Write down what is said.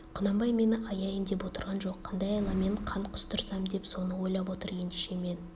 құнанбай мені аяйын деп отырған жоқ қандай айламен қан құстырсам деп соны ойлап отыр ендеше мен